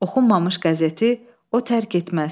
Oxunmamış qəzeti o tərk etməz.